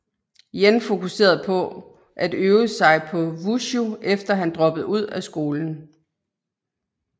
Yen fokuserede på at øve sig på Wushu efter han droppede ud af skolen